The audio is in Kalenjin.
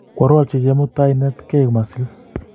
kworutochi chemutai inetkio masil